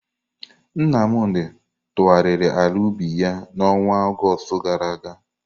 Nnamdi tụgharịrị ala ubi ya n'ọnwa Ọgọst gara aga.